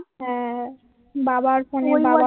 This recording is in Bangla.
হ্যাঁ বাবার ফোনে বাবা